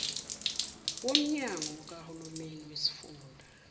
womnyango kahulumeni wesifunda